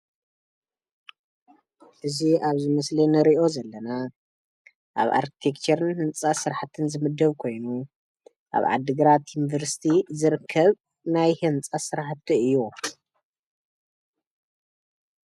እዚ ኣብዚ ምስሊ ንሪኦ ዘለና ኣብ ኣርቴክቸርን ህንፃ ስራሕትን ዝምደብ ኮይኑ ኣብ ዓዲ ግራት ዩኒቨርሲቲ ዝርከብ ናይ ህንፃ ስራሕቲ እዩ፡፡